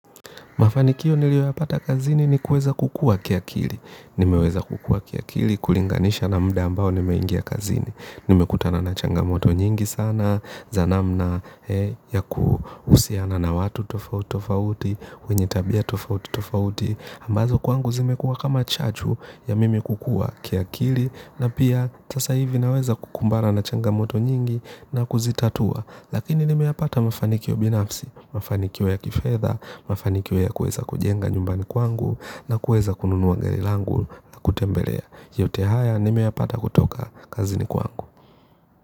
Mafanikio nilioyapata kazini ni kueza kukua kia kili. Nimeweza kukua kiakili, kulinganisha na mda ambao nimeingia kazini. Nimekutana na changamoto nyingi sana, za namna ya kuhusiana na watu tofauti tofauti, wenye tabia tofauti tofauti, ambazo kwangu zimekuwa kama chachu ya mimi kukua kiakili na pia sasa hivi naweza kukumbana na changamoto nyingi na kuzitatua. Lakini nimeyapata mafanikio binafsi, mafanikio ya kifedha, mafanikio ya kueza kujenga nyumbani kwangu na kueza kununuwa gari langu na kutembelea. Yote haya nimeyapata kutoka kazini kwangu.